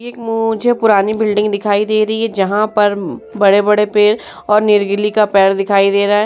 एक मुझे पुरानी बिल्डिंग दिखाई दे रहे हैं जहां पर बड़े-बड़े पेड़ और नीलगिली का पेड़ दिखाई दे रहा है।